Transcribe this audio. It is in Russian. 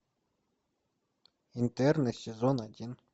интерны сезон один